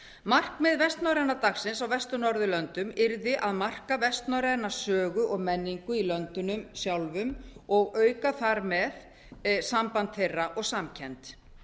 markmið vestnorræna dagsins á vestur norðurlöndunum yrði að marka vestnorræna sögu og menningu í löndunum sjálfum og auka þar með samband þeirra og samkennd